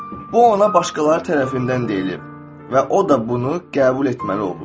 Bu ona başqaları tərəfindən deyililib və o da bunu qəbul etməli olub.